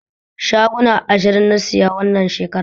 Shaguna ashirin na saya wannan shekaran